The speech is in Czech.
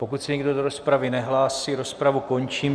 Pokud se nikdo do rozpravy nehlásí, rozpravu končím.